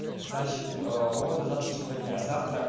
значит по поводу завтрашнего дня завтра